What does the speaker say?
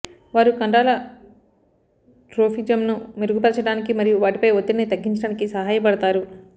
వారు కండరాల ట్రోఫిజమ్ను మెరుగుపరచడానికి మరియు వాటిపై ఒత్తిడిని తగ్గించడానికి సహాయపడతారు